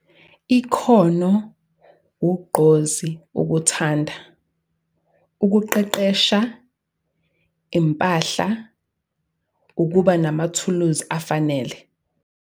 Ikhono, Ugqozi, ukuthanda, Ukuqeqesha, Impahla, ukuba namathuluzi afanele.